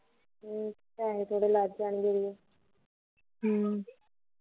ਪੈਸੇ ਥੋੜੇ ਲੈ ਕੇ ਜਾਣੇ ਕਿਤੇ ਹਮ